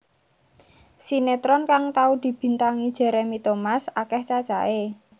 Sinétron kang tau dibintangi Jeremy Thomas akèh cacahé